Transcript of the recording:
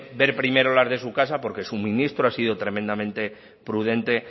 ver primero las de su casa porque su ministro ha sido tremendamente prudente